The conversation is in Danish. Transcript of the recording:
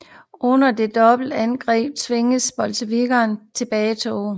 Under dette dobbelte angreb tvinges bolsjevikkerne til tilbagetog